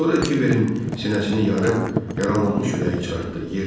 Sonra Kiberin sinəsini yarıb yaralanmış ürəyi çıxartdı.